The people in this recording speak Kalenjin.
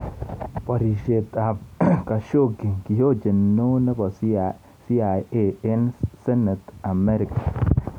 Porishet ap Kashoggi:kihojeni Neo nepo CIA eng senet Amerika